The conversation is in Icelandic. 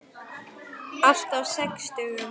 Allt á sex dögum.